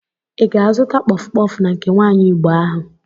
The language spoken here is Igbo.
Ị ga-azụta kpọf kpọf na nke nwaanyi Igbo ahụ?